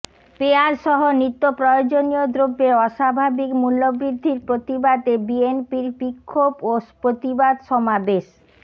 পেয়াঁজসহ নিত্যপ্রয়োজনীয় দ্রব্যের অস্বাভাবিক মূল্য বৃদ্ধির প্রতিবাদে বিএনপির বিক্ষোভ ও প্রতিবাদ সমাবেশ